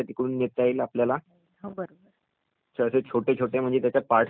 सर्वे छोटे छोटे म्हणेज त्याचे पार्ट करुन आणखी त्याला विभागून नाही का